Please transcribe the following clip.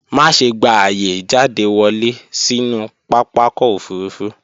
Má ṣe gba ààyè ìjáde wọlé sínú pápakọ̀ òfurufú